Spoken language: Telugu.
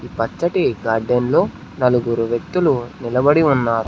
పచ్చటి గార్డెన్ లో నలుగురు వ్యక్తులు నిలబడి ఉన్నారు.